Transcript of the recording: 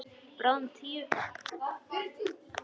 Bráðum tíu.